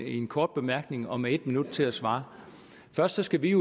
kort bemærkning og med et minut til at svare først skal vi